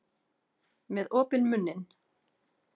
Með opinn munninn.